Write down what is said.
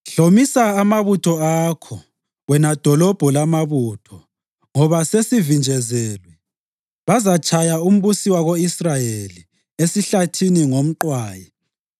Hlomisa amabutho akho, wena dolobho lamabutho, ngoba sesivinjezelwe. Bazatshaya umbusi wako-Israyeli esihlathini ngomqwayi.